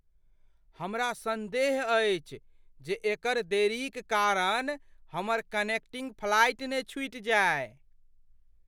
हमरा संदेह अछि जे एकर देरीक कारण हमर कनेक्टिंग फ्लाइट ने छूटि जाय।